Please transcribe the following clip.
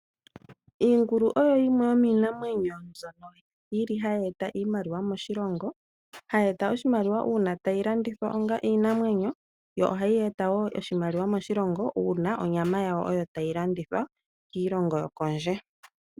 Iingulu oyo yimwe yomiinamwenyo mbyono yili hayi eta iimaliwa moshilongo. Hayi eta oshimaliwa una tayi landithwa onga iinamwenyo yo ohayi etawo oshimaliwa moshilongo uuna onyama yawo oyo tayi landithwa kiilongo yokondje.